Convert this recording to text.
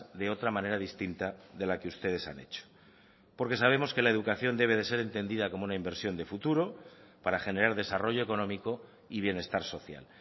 de otra manera distinta de la que ustedes han hecho porque sabemos que la educación debe de ser entendida como una inversión de futuro para generar desarrollo económico y bienestar social